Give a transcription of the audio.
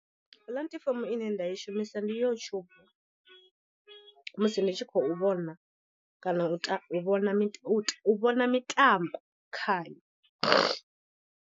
Puḽatifomo ine nda i shumisa ndi YouTube musi ndi tshi khou vhona kana u u vhona mita u vhona mitambo khayo.